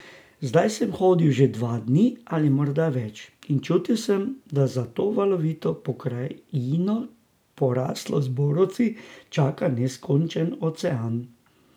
Zdaj sem hodil že dva dni, ali morda več, in čutil sem, da za to valovito pokrajino, poraslo z borovci, čaka neskončen ocean.